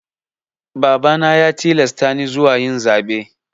Babana ya tilasta ni zuwa yin zaɓe.